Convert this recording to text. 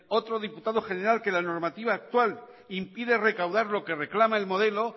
otro diputado general que la normativa actual impide recaudar lo que reclama el modelo